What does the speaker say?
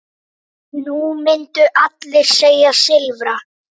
Nú myndu allir segja Silfra.